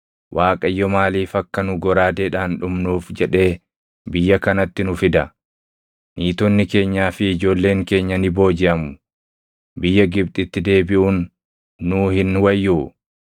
Waaqayyo maaliif akka nu goraadeedhaan dhumnuuf jedhee biyya kanatti nu fida? Niitonni keenyaa fi ijoolleen keenya ni boojiʼamu. Biyya Gibxitti deebiʼuun nuu hin wayyuu?”